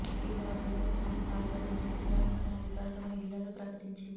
ఈ దాడులకు తామే పాల్పడినట్టు ఇరాన్ తన అధికారిక మీడియాలో ప్రకటించింది